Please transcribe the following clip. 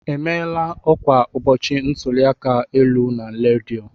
E maala ọkwa ụbọchị ntụli aka elu na redio?